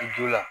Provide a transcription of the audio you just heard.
A ju la